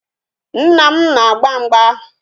Nna m na-agba mgba